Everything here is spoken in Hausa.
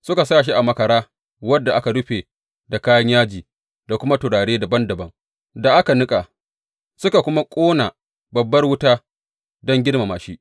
Suka sa shi a makara wadda aka rufe da kayan yaji da kuma turare dabam dabam da aka niƙa, suka kuma ƙuna babbar wuta don girmama shi.